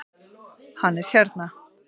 Hann er hérna